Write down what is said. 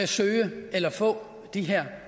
søge eller få den her